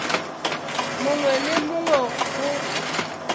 mongwe le wo mongwe go